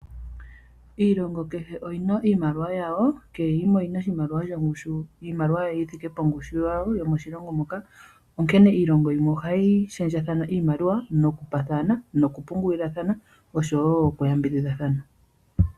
Iilongo kehe oyi na iimaliwa yawo kehe yimwe oyi na iimaliwa shongushu. Iimaliwa yi thike pongushu yawo yomoshilongo moka . Onkene iilongo yimwe ohayi shendjathana iimaliwa nokupaathana nokupungulilathana oshowo okuyambidhidhathana.